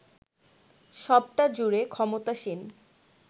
সবটা জুড়ে ক্ষমতাসীন